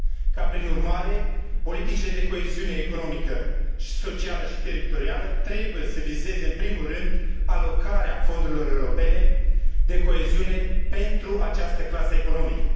ca, prin urmare, politicile de coeziune economică, socială și teritorială trebuie să vizeze în primul rând alocarea fondurilor europene de coeziune pentru această clasă economică.